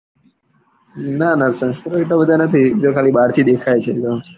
નાં નાં સંસ્કારો એટલા બધા નથી એ તો ખાલી બાર થી દેખાય છે.